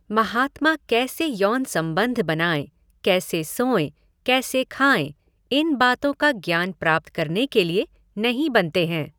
महात्मा कैसे यौन संबंध बनाए, कैसे सोए, कैसे खाए इन बातो का ज्ञान प्राप्त करने के लिए नहीं बनते है।